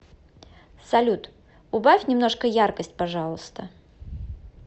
салют убавь немножко яркость пожалуйста